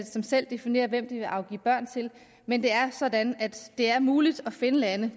som selv definerer hvem de vil afgive børn til men det er sådan at det er muligt at finde lande